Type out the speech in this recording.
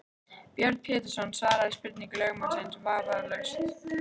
Björn Pétursson svaraði spurningum lögmanns vafningalaust.